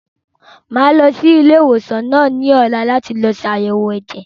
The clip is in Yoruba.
Màá lọ sí ilé ìwòsàn ní ọ̀la láti ṣe àyèwò ẹ̀jẹ̀.